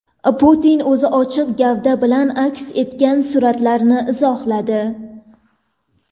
Putin o‘zi ochiq gavda bilan aks etgan suratlarni izohladi.